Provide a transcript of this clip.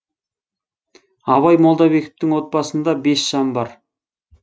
абай молдабековтың отбасында бес жан бар